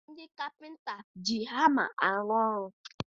Ndị kapịnta ji hama arụ ọrụ